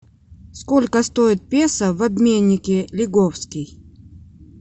сколько стоит песо в обменнике лиговский